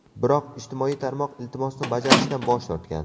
Biroq ijtimoiy tarmoq iltimosni bajarishdan bosh tortgan.